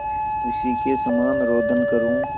उसी के समान रोदन करूँ